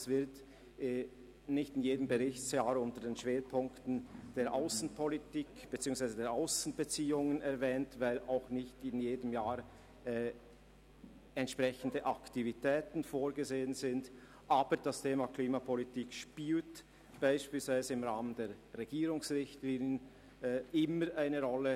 Es wird nicht in jedem Berichtsjahr unter den Schwerpunkten der Aussenbeziehungen erwähnt, weil auch nicht in jedem Jahr entsprechende Aktivitäten vorgesehen sind, aber es spielt beispielsweise im Rahmen der Regierungsrichtlinien immer eine Rolle.